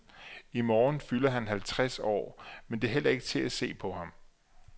I morgen fylder han halvtreds år, men det er heller ikke til at se på ham.